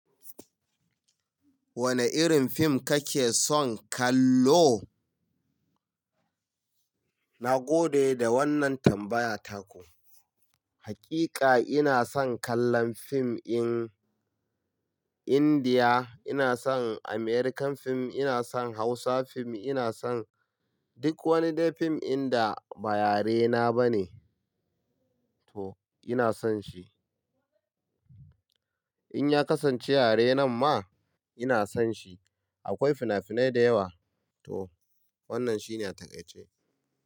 Wane irin fim kake son kallo? Na gode da wannan tambaya taku. Hakika ina son kallon fim in India, ina son Amercan fim, ina son Hausa fim, ina son duk wani dai fim inda ba yarena bane to ina son shi. In ya kasance yare nan ma ina son shi. Akwai fina-finai da yawa to wannan shine taƙaice.